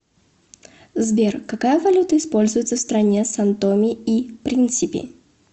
сбер какая валюта используется в стране сан томе и принсипи